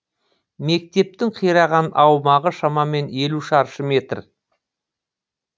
мектептің қираған аумағы шамамен елу шаршы метр